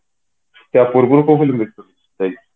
ତା ପୂର୍ବରୁ କହୁନି